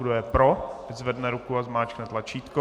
Kdo je pro, ať zvedne ruku a zmáčkne tlačítko.